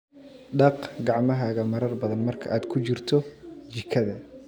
Dhaq gacmahaaga marar badan marka aad ku jirto jikada.